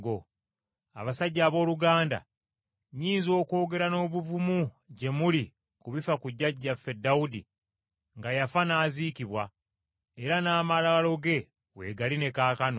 “Abasajja abooluganda, nnyinza okwogera n’obuvumu gye muli ku bifa ku jjajjaffe Dawudi nga yafa n’aziikibwa, era n’amalaalo ge weegali ne kaakano.